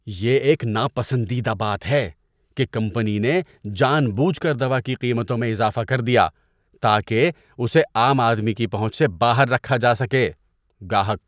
یہ ایک ناپسندیدہ بات ہے کہ کمپنی نے جان بوجھ کر دوا کی قیمتوں میں اضافہ کر دیا تاکہ اسے عام آدمی کی پہنچ سے باہر رکھا جا سکے۔ (گاہک)